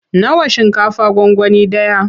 Nawa shinkafa gwangwani ɗaya?